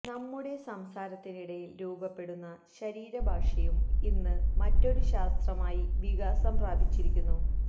നമ്മുടെ സംസാരത്തിനിടയില് രൂപപ്പെടുന്ന ശരീരഭാഷയും ഇന്ന് മറ്റൊരു ശാസ്ത്രമായി വികാസം പ്രാപിച്ചിരിക്കുന്നു